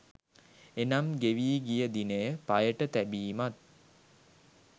එනම් ගෙවී ගිය දිනය පයට තැබීමත්